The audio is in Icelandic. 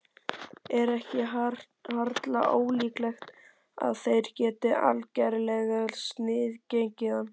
Er ekki harla ólíklegt að þeir geti algerlega sniðgengið hann?